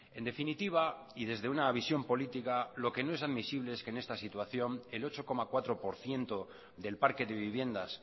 en definitiva y desde una visión política lo que no es admisible es que en esta situación el ocho coma cuatro por ciento del parque de viviendas